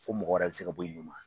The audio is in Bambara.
Fo mɔgɔ wɛrɛ bɛ se ka bɔ ye.